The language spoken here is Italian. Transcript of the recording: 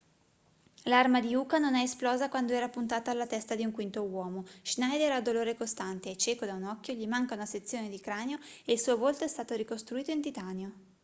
l'arma di uka non è esplosa quando era puntata alla testa di un quinto uomo schneider ha dolore costante è cieco da un occhio gli manca una sezione di cranio e il suo volto è stato ricostruito in titanio